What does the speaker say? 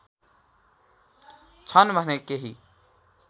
छन् भने केही